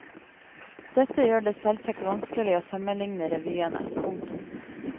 Dette gjør det selvsagt vanskelig å sammenligne revyene. punktum